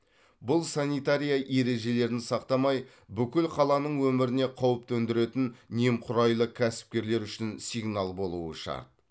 бұл санитария ережелерін сақтамаи бүкіл қаланың өміріне қауіп төндіретін немқұраилы кәсіпкерлер үшін сигнал болуы шарт